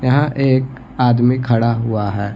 यहाँ एक आदमी खड़ा हुआ है |